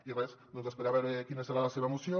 i res doncs esperar a veure quina serà la seva moció